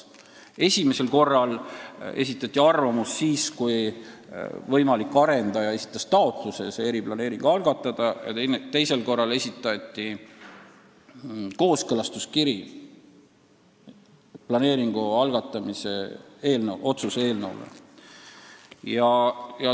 Esimesel korral esitati arvamus siis, kui võimalik arendaja esitas taotluse see eriplaneering algatada, ja teisel korral esitati planeeringu algatamise otsuse eelnõu kooskõlastuskiri.